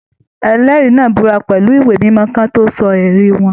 Ẹlẹri náà búra pẹlú ìwé mímọ kì wọn tó sọ ẹrí wọn.